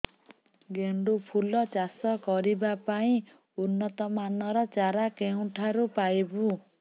ଗେଣ୍ଡୁ ଫୁଲ ଚାଷ କରିବା ପାଇଁ ଉନ୍ନତ ମାନର ଚାରା କେଉଁଠାରୁ ପାଇବୁ